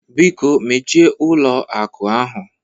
Biko mechie ụlọ akụ ahụ!